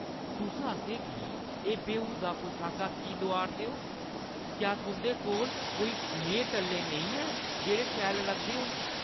तुस असें गी एह् बेहूदा पोशाकां की लोआऽ 'रदे ओ? क्या तुंʼदे कोल कोई नेहे टल्ले नेईं हैन जेह्ड़े शैल लगदे होन?